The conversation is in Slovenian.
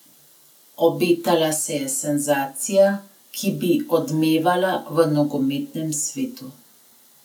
Obetala se je senzacija, ki bi odmevala v nogometnem svetu.